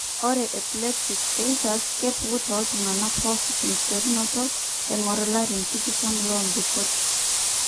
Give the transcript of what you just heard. ore epileptic seizures kepuku tooltung'anak pooki tenkiterunoto eng'or ilarin tikitam loombikot.